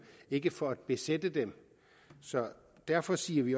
ikke for at besætte dem derfor siger vi